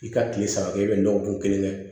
I ka tile saba kɛ i bɛ nɔgɔ bɔn kelen kɛ